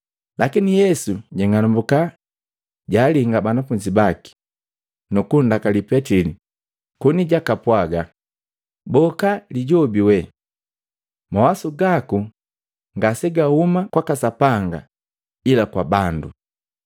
Lakini Yesu jang'anambuka, jaalinga banafunzi baki, nukundakali Petili koni jakapwaaga, “Boka Lijobi wee! Mawasu gaku ngasegahuma kwaka Sapanga ila kwa bandu.”